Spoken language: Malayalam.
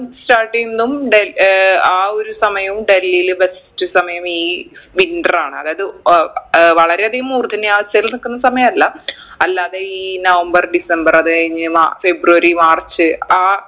start എയ്ന്നതും ഡ ഏർ ആ ഒരു സമയവും ഡൽഹീല് best സമയം ഈ winter ആണ് അതായത് അഹ് ആഹ് വളരെ അധികം മൂർദ്ധന്യാവസ്ഥയിൽ നിക്കുന്ന സമയല്ല അല്ലാതെ ഈ നവംബർ ഡിസംബർ അത് കഴിഞ്ഞ് മ ഫിബ്രവരി മാർച്ച് ആ